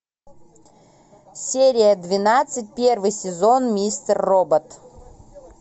серия двенадцать первый сезон мистер робот